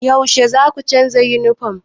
Yaushe zaku canza yunifom?